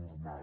normal